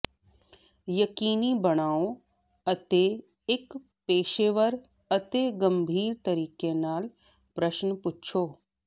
ਯਕੀਨੀ ਬਣਾਓ ਅਤੇ ਇੱਕ ਪੇਸ਼ੇਵਰ ਅਤੇ ਗੰਭੀਰ ਤਰੀਕੇ ਨਾਲ ਪ੍ਰਸ਼ਨ ਪੁੱਛੋ